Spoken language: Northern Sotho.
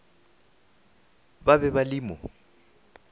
ba be ba le mo